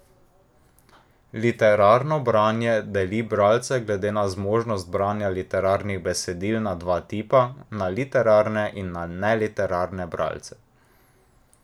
Literarno branje deli bralce glede na zmožnost branja literarnih besedil na dva tipa, na literarne in neliterarne bralce.